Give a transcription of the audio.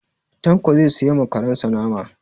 Tanko zai siya ma karen sa nama.